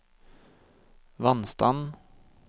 vannstand